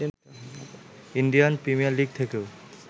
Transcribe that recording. Indian premier league থেকেও